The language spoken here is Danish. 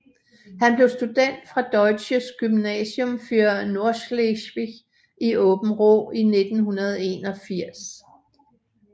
Han blev student fra Deutsches Gymnasium für Nordschleswig i Åbenrå i 1981